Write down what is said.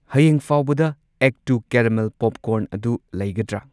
ꯍꯌꯦꯡ ꯐꯥꯎꯕꯗ extra caramel popcorn ꯑꯗꯨ ꯂꯩꯒꯗ꯭ꯔ?